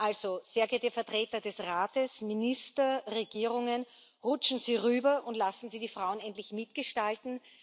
Also, sehr geehrte Vertreter des Rates, Minister, Regierungen Rutschen Sie rüber und lassen Sie die Frauen endlich mitgestalten.